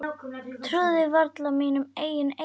Trúði varla mínum eigin eyrum.